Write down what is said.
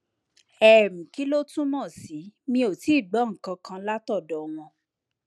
um kí ló túmọ sí mi ò tíì gbọ nǹkan kan látọdọ wọn